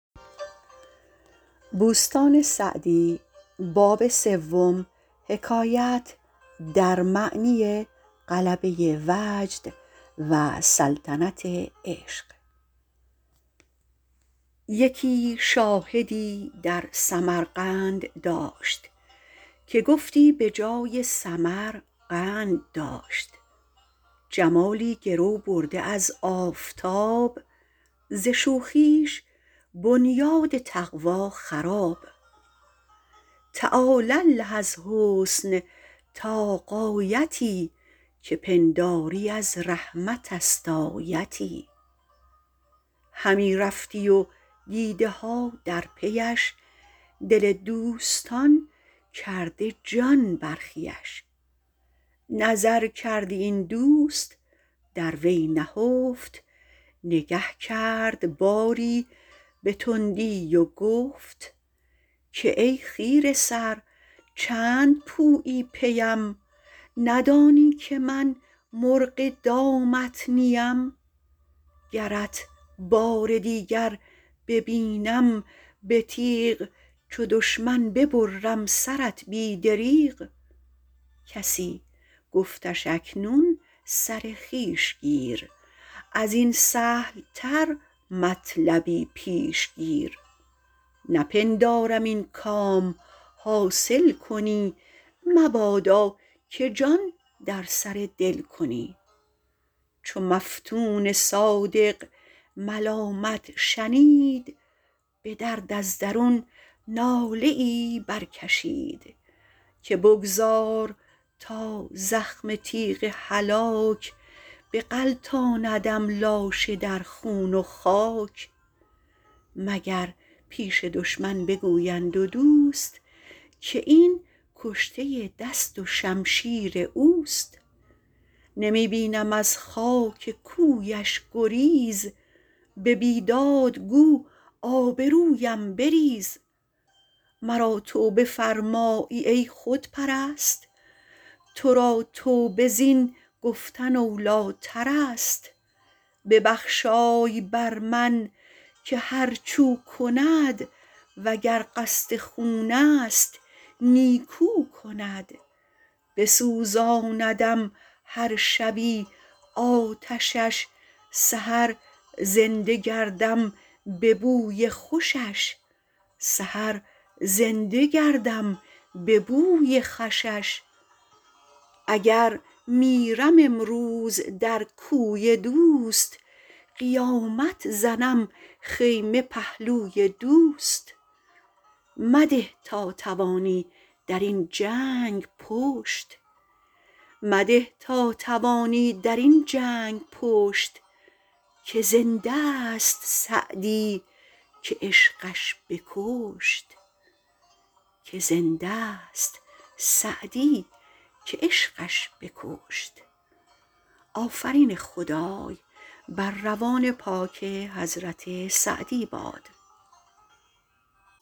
یکی شاهدی در سمرقند داشت که گفتی به جای سمر قند داشت جمالی گرو برده از آفتاب ز شوخیش بنیاد تقوی خراب تعالی الله از حسن تا غایتی که پنداری از رحمت است آیتی همی رفتی و دیده ها در پیش دل دوستان کرده جان برخیش نظر کردی این دوست در وی نهفت نگه کرد باری به تندی و گفت که ای خیره سر چند پویی پیم ندانی که من مرغ دامت نیم گرت بار دیگر ببینم به تیغ چو دشمن ببرم سرت بی دریغ کسی گفتش اکنون سر خویش گیر از این سهل تر مطلبی پیش گیر نپندارم این کام حاصل کنی مبادا که جان در سر دل کنی چو مفتون صادق ملامت شنید به درد از درون ناله ای برکشید که بگذار تا زخم تیغ هلاک بغلطاندم لاشه در خون و خاک مگر پیش دشمن بگویند و دوست که این کشته دست و شمشیر اوست نمی بینم از خاک کویش گریز به بیداد گو آبرویم بریز مرا توبه فرمایی ای خودپرست تو را توبه زین گفت اولی ترست ببخشای بر من که هرچ او کند و گر قصد خون است نیکو کند بسوزاندم هر شبی آتشش سحر زنده گردم به بوی خوشش اگر میرم امروز در کوی دوست قیامت زنم خیمه پهلوی دوست مده تا توانی در این جنگ پشت که زنده ست سعدی که عشقش بکشت